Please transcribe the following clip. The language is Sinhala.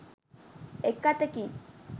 එක් අතකින්